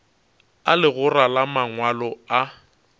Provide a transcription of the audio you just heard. a legora la mangwalo a